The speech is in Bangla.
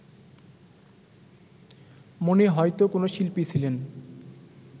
মনে হয়তো কোনো শিল্পী ছিলেন